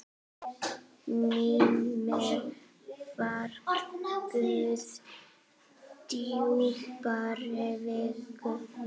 Mímir var guð djúprar visku.